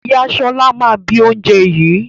Ìyá Ṣọlá máa bi oúnjẹ yìí.